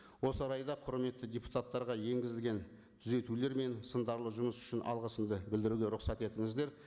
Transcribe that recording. осы орайда құрметті депутаттарға енгізілген түзетулер мен сындарлы жұмыс үшін алғысымды білдіруге рұқсат етіңіздер